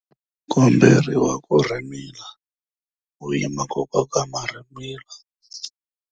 U komberiwa ku rhimila u yima ku koka marhimila.